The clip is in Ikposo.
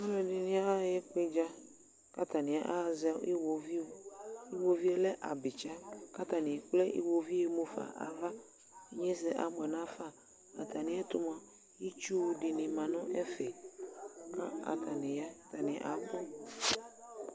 aluɛdɩnɩ aɣa ekpedza, kʊ atanɩ awʊ abitsa, kʊ atanɩ ekple iwoviu yɛ mufa nʊ ava, inyesɛ abuɛ nafa, nʊ atamiɛtʊ mua itsu dɩnɩ ma kʊ atanɩ ya, atanɩ abʊ